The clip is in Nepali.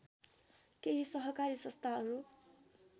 केही सहकारी संस्थाहरू